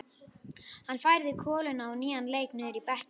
Hann færði koluna á nýjan leik niður í bekkinn.